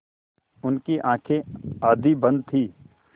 उनकी आँखें आधी बंद थीं